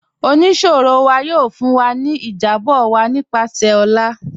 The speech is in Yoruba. Ọniṣirọ wa yóò fún wa ni ìjábọ̀ owo nípasẹ̀ ọ̀là.